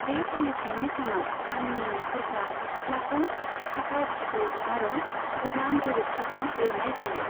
बे फालिथायनि सानाव, गामिनि नखरफ्रा सिथ्लाखौ साफा सिबो आरो गोदान गोबोरखिजों लिरनाय जायो।